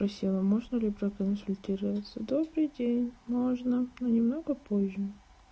спросила можно ли проконсультироваться добрый день можно но немного позже